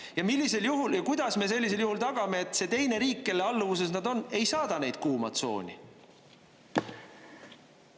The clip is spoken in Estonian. Ja millisel juhul ja kuidas me sellisel juhul tagame, et see teine riik, kelle alluvuses nad on, ei saada neid kuuma tsooni?